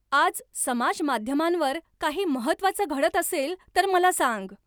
आज समाज माध्यमांवर काही महत्त्वाचं घडत असेल तर मला सांग.